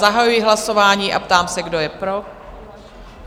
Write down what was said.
Zahajuji hlasování a ptám se, kdo je pro?